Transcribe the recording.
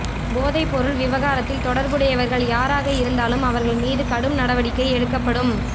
போதைப்பொருள் விவகாரத்தில் தொடா்புடையவா்கள் யாராக இருந்தாலும் அவா்கள் மீது கடும் நடவடிக்கை எடுக்கப்படும்